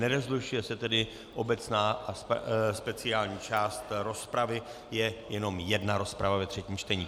Nerozlišuje se tedy obecná a speciální část rozpravy, je jenom jedna rozprava ve třetím čtení.